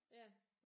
Ja